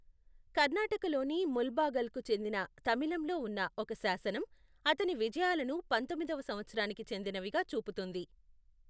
కర్నాటకలోని ముల్బాగల్కు చెందిన తమిళంలో ఉన్న ఒక శాసనం అతని విజయాలను పంతొమ్మిదవ సంవత్సరానికి చెందినవిగా చూపుతుంది.